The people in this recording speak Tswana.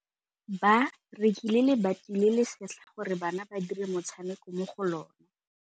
Ba rekile lebati le le setlha gore bana ba dire motshameko mo go lona.